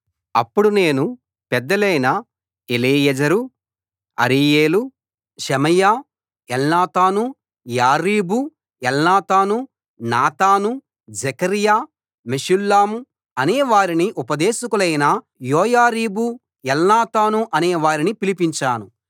అప్పుడు నేను పెద్దలైన ఎలీయెజెరు అరీయేలు షెమయా ఎల్నాతాను యారీబు ఎల్నాతాను నాతాను జెకర్యా మెషుల్లం అనే వారిని ఉపదేశకులైన యోయారీబు ఎల్నాతాను అనే వారిని పిలిపించాను